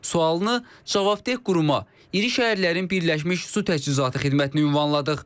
Sualını cavabdeh quruma, İri Şəhərlərin Birləşmiş Su Təchizatı Xidmətinə ünvanladıq.